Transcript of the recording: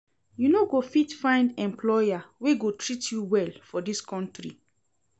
You no go fit find employer wey go treat you well for dis country.